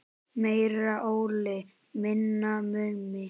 Meira Óli, minna Mummi!